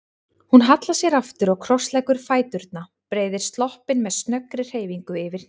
Hún hallar sér aftur og krossleggur fæturna, breiðir sloppinn með snöggri hreyfingu yfir hnén.